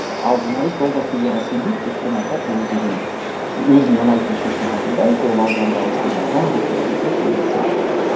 ал журналист ол да судьяға сенбейді өйткені айтады ол деген өзіне ұнайтын шешім қабылдайды ол ауданда осындай адам бүйтеді сөйтеді деген сияқты